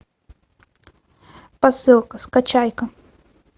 посылка скачай ка